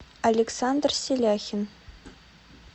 александр селяхин